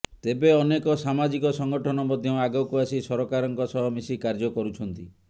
ତେବେ ଅନେକ ସାମାଜିକ ସଂଗଠନ ମଧ୍ୟ ଆଗକୁ ଆସି ସରକାରଙ୍କ ସହ ମିଶି କାର୍ଯ୍ୟ କରୁଛନ୍ତି